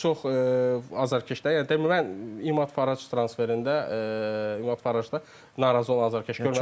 Bir çox azarkeşlər, yəni mən İməd Fərəj transferində İməd Fərəjdə narazı olan azarkeş görmədim.